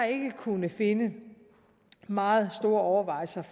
ikke kunnet finde meget store overvejelser